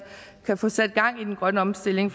kan få sat gang i den grønne omstilling